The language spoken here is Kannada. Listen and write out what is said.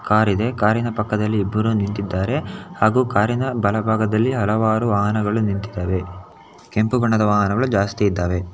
ಕಾರಿ ದೆ ಕಾರಿನ ಪಕ್ಕದಲ್ಲಿ ಇಬ್ಬರು ನಿಂತಿದ್ದಾರೆ ಹಾಗೂ ಕಾರಿನ ಬಲಭಾಗದಲ್ಲಿ ಹಲವಾರು ವಾಹನಗಳು ನಿಂತಿದವೆ ಕೆಂಪು ಬಣ್ಣದ ವಾಹನಗಳು ಜಾಸ್ತಿ ಇದಾವೆ.